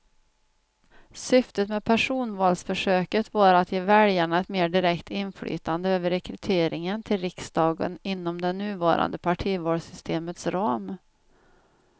Syftet med personvalsförsöket var att ge väljarna ett mer direkt inflytande över rekryteringen till riksdagen inom det nuvarande partivalssystemets ram.